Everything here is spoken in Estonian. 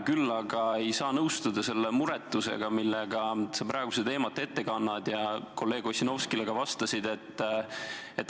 Küll aga ei saa nõustuda selle muretusega, millega sa praegu seda teemat ette kannad ja ka kolleeg Ossinovskile vastasid.